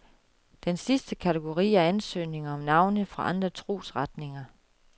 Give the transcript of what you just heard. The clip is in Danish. Den sidste kategori er ansøgninger om navne fra andre trosretninger.